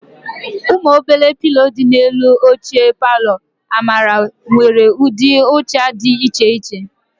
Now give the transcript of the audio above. Ụmụ obere pilo dị n'elu oche palọ Amara nwere ụdị ụcha dị iche iche.